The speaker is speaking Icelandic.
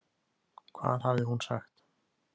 Hvað hafði hún sagt?